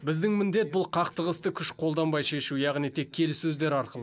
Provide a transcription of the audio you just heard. біздің міндет бұл қақтығысты күш қолданбай шешу яғни тек келіссөздер арқылы